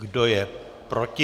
Kdo je proti?